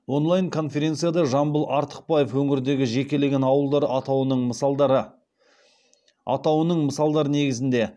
онлайн конференцияда жамбыл артықбаев өңірдегі жекелеген ауылдар атауының мысалдар негізінде